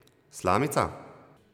Slamica?